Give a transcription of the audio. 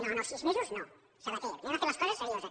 no no sis mesos no sabaté fem les coses serioses